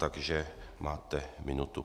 Takže máte minutu.